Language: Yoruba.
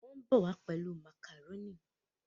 Wón bó wá pẹlú macaroni